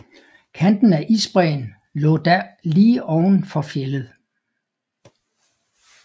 Kanten af isbræen lå da lige oven for fjeldet